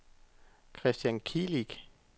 Christian Kilic